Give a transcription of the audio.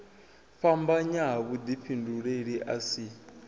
fhambanya ha vhudifhinduleli a si